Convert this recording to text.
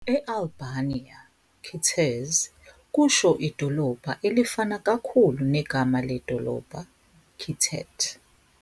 E- Albania "qytezë" kusho idolobha, elifana kakhulu negama ledolobha, "qytet".